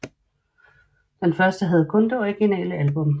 Den første havde kun det originale album